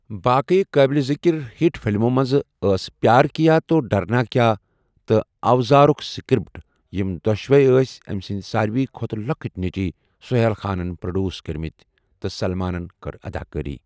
باقٕی قٲبلِ ذِکِر ہِٹ فلِمو منٛز ٲس پیار کیا تو ڈرنا کیا تہٕ اوزارُک سکرپٹ، یِم دۄشوٕے ٲس أمۍ سٕنٛد ساروِی کھۄتہٕ لۄکٔٹۍ نیٚچِی سُہیل خانن پروڈیوس کٔرمٕتۍ تہٕ سَلمانن کٔر اداکٲری۔